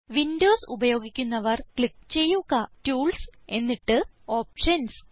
Windows ഉപയോഗിക്കുന്നവർ click ചെയ്യുക tools എന്നിട്ട് ഓപ്ഷൻസ്